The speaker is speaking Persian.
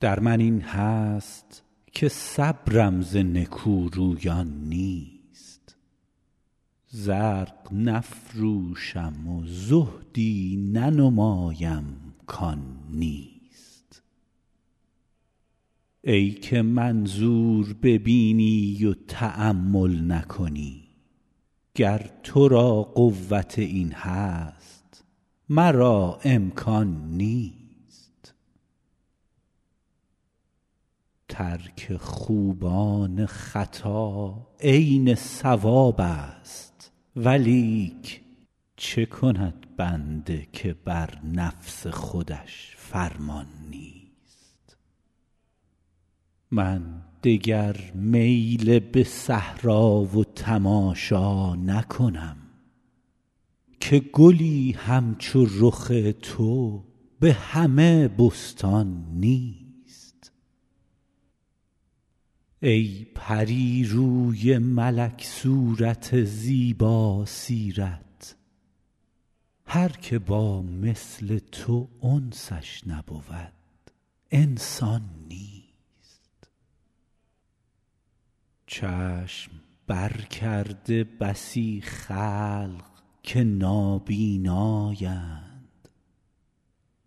در من این هست که صبرم ز نکورویان نیست زرق نفروشم و زهدی ننمایم کان نیست ای که منظور ببینی و تأمل نکنی گر تو را قوت این هست مرا امکان نیست ترک خوبان خطا عین صوابست ولیک چه کند بنده که بر نفس خودش فرمان نیست من دگر میل به صحرا و تماشا نکنم که گلی همچو رخ تو به همه بستان نیست ای پری روی ملک صورت زیباسیرت هر که با مثل تو انسش نبود انسان نیست چشم برکرده بسی خلق که نابینااند